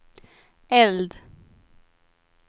eld